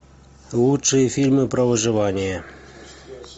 лучшие фильмы про выживание